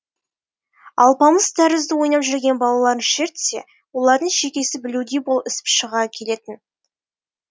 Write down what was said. алпамыс тәрізді ойнап жүрген балаларын шертсе олардың шекесі білеудей болып ісіп шыға келетін